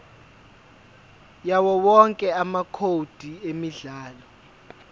yawowonke amacode emidlalo